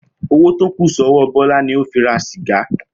Owó tó kù só̩wó̩ Bó̩lá ni ó fi ra sìga